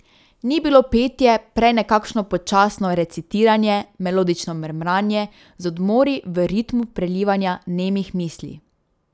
Ni bilo petje, prej nekakšno počasno recitiranje, melodično mrmranje, z odmori, v ritmu prelivanja nemih misli.